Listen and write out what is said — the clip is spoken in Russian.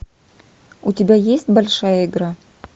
у тебя есть большая игра